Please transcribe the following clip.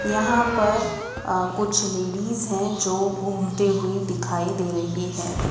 यहां पर अह कुछ लेडीज है जो घूमते हुए दिखाई दे रही हैं।